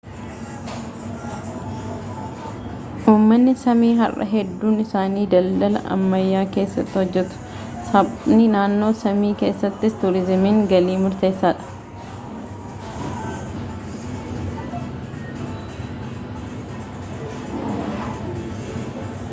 uummanni saamii har'a hedduun isaanii dandala ammayyaa keessaa hojjetu saapmi naannoo saamii keessatti tuuriizimiin galii murteessaadha